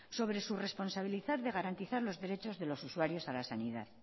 sobre responsabilizar de garantizar los derechos de los usuarios a la sanidad